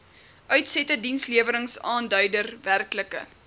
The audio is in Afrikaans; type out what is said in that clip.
uitsette diensleweringaanduider werklike